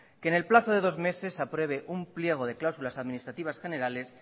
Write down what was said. que en el plazo de dos meses apruebe un pliego de cláusulas administrativas generales